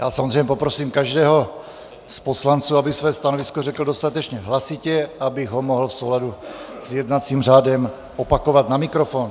Já samozřejmě poprosím každého z poslanců, aby své stanovisko řekl dostatečně hlasitě, abych ho mohl v souladu s jednacím řádem opakovat na mikrofon.